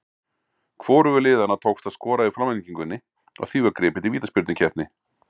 Hvorugu liðanna tókst að skora í framlengingunni og því var gripið til vítaspyrnukeppni.